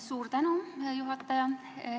Suur tänu, hea juhataja!